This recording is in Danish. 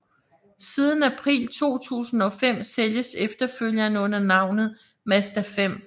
Siden april 2005 sælges efterfølgeren under navnet Mazda5